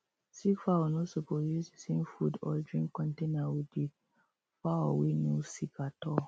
sick fowl no suppose use the same food or drink countainer with the fowl way no sick at all